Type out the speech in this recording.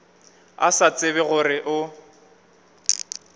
a sa tsebe gore o